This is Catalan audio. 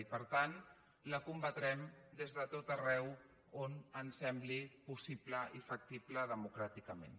i per tant la combatrem des de tot arreu on ens sembli possible i factible democràticament